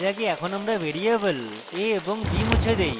এর আগে এখন আমরা ভ্যারিয়েবল a এবং b মুছে দেই